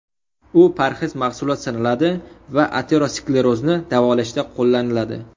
U parhez mahsulot sanaladi va aterosklerozni davolashda qo‘llaniladi.